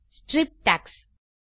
strip tax